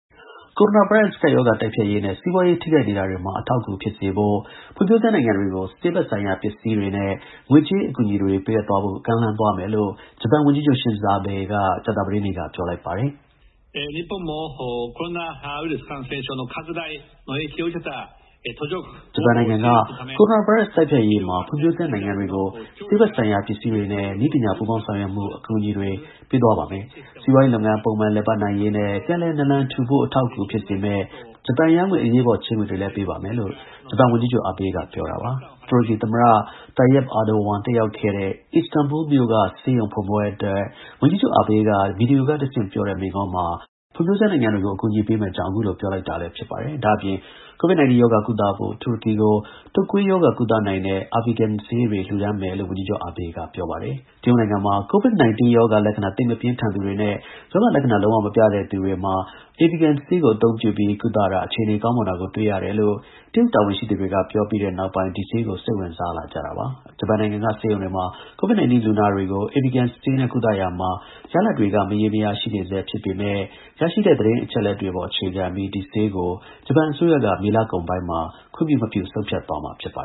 ကိုရိုနာဗိုင်းရပ် ကပ်ရောဂါတိုက်ဖျက်ရေးနဲ့ စီးပွားရေး ထိခိုက်နေတာတွေမှာ အထောက်အကူဖြစ်စေဖို့ ဖွံဖြိုးဆဲနိုင်ငံတွေကို ဆေးဘက် ဆိုင်ရာပစ္စည်းနဲ့ ငွေကြေး အကူအညီတွေပေးအပ်သွားဖို့ ကမ်းလှမ်းသွားမယ်လို့ ဂျပန် ဝန်ကြီးချုပ် Shinzo Abe က ကြာသပတေးနေ့က ပြောလိုက်ပါ တယ်။ “ဂျပန်နိုင်ငံက ကိုရိုနာဗိုင်းရပ်စ် တိုက်ဖျက်ရေးမှာ ဖွံဖြိုးဆဲနိုင်ငံတွေကို ဆေးဘက်ဆိုင်ရာပစ္စည်းတွေနဲ့ နည်းပညာ ပူးပေါင်းဆောင်ရွက်မှု အကူအညီတွေပေးသွားပါမယ်။ စီးပွါးရေးလုပ်ငန်း ပုံမှန် လည်ပတ်နိုင်ရေးနဲ့ ပြန်လည်နာလန်ထူဖို့ အထောက်အကူ ဖြစ်စေမယ့် ဂျပန်ယန်းငွေ အရေးပေါ် ချေးငွေတွေလည်းပေးပါမယ်” - လို့ ဂျပန်ဝန်ကြီးချုပ် Abe က ပြောတာပါ။ တူရကီ သမ္မတ Recep Tayyip Erdogan တက်ရောက်ခဲ့တဲ့ အစ္စတန်ဘူမြို့ ဆေးရုံဖွင့်ပွဲအတွက် ဝန်ကြီးချုပ် Abe ကဗွီဒီယိုကတဆင့် ပြောတဲ့ မိန့်ခွန်းမှာ ဖွံ့ဖြိုးဆဲနိုင်ငံတွေကို အကူအညီ ပေးမယ့်အကြောင်း အခုလို ပြောလိုက်တာလည်း ဖြစ်ပါတယ်။ ဒါ့အပြင် COVID-19 ရောဂါကုသဖို့တူရကီကို တုပ်ကွေးရောဂါ ကုသနိုင်တဲ့ Avigan ဆေးတွေ လှူဒါန်းမယ်လို့ ဝန်ကြီးချုပ် Abe က ပြောပါတယ်။ တရုတ်နိုင်ငံမှာ COVID-19 ရောဂါလက္ခဏာ သိပ်မပြင်းထန်သူတွေနဲ့ ရောဂါလက္ခဏာလုံး၀ မပြတဲ့ သူတွေ Avigan ဆေးကို အသုံးပြုပြီး ကုသတာအခြေအနေကောင်းမွန်တာကို တွေ့ရတယ်လို့ တရုတ်တာဝန်ရှိသူတွေက ပြောတဲ့နောက်ပိုင်း ဒီဆေးကို စိတ်ဝင်စားလာကြတာပါ။ အခုလက်ရှိ ကမ္ဘာ့နေရာ ၁၆ နေရာမှာ ဒီဆေးကို စမ်းသပ် သုံးစွဲနေကြပါတယ်။ ဂျပန်နိုင်ငံက ဆေးရုံတွေမှာ COVID-19 လူနာတွေ ကို Avigan ဆေးနဲ့ကုသရာမှာ ရလဒ်တွေက မရေမရာ ရှိနေဆဲဖြစ်ပေမဲ့ရရှိတဲ့ သတင်းအချက်အလက်တွေအပေါ် အခြေခံပြီး ဒီဆေးကို ဂျပန်အစိုးရက မေလကုန် ပိုင်းမှာ ခွင့်ပြုမပြု ဆုံးဖြတ်သွားမှာ ဖြစ်ပါ